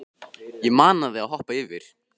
Ég mana þig að hoppa yfir.